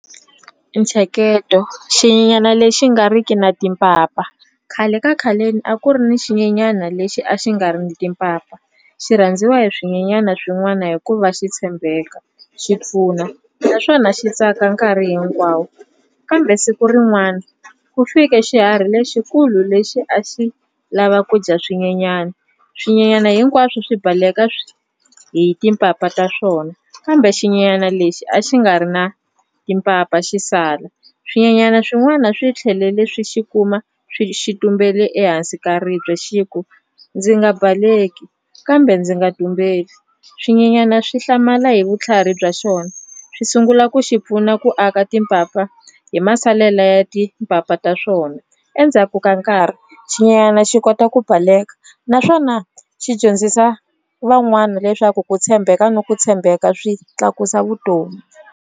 I ntsheketo xinyanyani lexi nga riki na timpapa khale ka khaleni a ku ri ni xinyenyani lexi a xi nga ri ni timpapa xi rhandziwa hi swinyanyana swin'wana hikuva xi tshembeka xi pfuna naswona xi tsaka nkarhi hinkwawo kambe siku rin'wana ku fike xiharhi lexikulu lexi a xi lava ku dya swinyanyani swinyanyana hinkwaswo swi baleka hi timpapa ta swona kambe xinyanyana lexi a xi nga ri na timpapa xi sala swinyanyana swin'wana swi tlhelele swi xi kuma swi xi tumbele ehansi ka ribye xi ku ndzi nga baleki kambe ndzi nga tumbeli swinyanyana swi hlamala hi vutlhari bya xona swi sungula ku xi pfuna ku aka timpapa hi masalela ya timpapa ta swona endzhaku ka nkarhi xinyanyana xi kota ku baleka naswona xi dyondzisa van'wana leswaku ku tshembeka na ku tshembeka swi tlakusa vutomi.